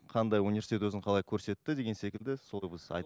қандай университет өзін қалай көрсетті деген секілді